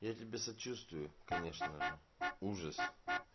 я тебе сочувствую конечно же ужас